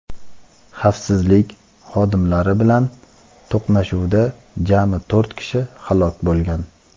Xavfsizlik xodimlari bilan to‘qnashuvda jami to‘rt kishi halok bo‘lgan.